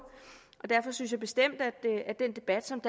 og derfor synes jeg bestemt at den debat som